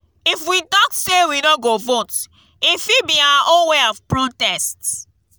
if we talk say we no go vote e fit be our own way of protest